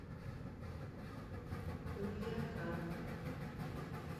кульякан